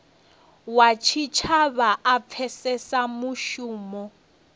wa tshitshavha a pfesese mushumo